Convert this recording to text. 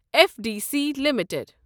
F D C limited